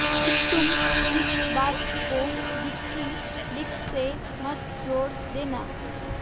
तुम इस बात को वीकी लीक्स से मत जोड़ देना